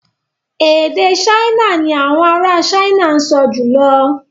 Èdè Ṣáínà ni àwọn ará Ṣáínà ń sọ jùlọ